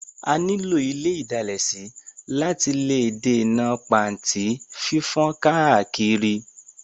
A ní lò ile ìdalẹ̀ sí láti lè dènà pàntí fífán káàkiri.